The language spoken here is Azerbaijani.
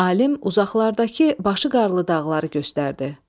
Alim uzaqlardakı başı qarlı dağları göstərdi.